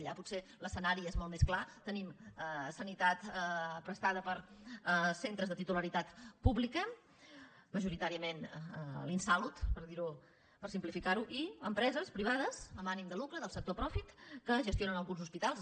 allà potser l’escenari és molt més clar tenim sanitat prestada per centres de titularitat pública majoritàriament l’insalud per simplificarho i empreses privades amb ànim de lucre del sector profit que gestionen alguns hospitals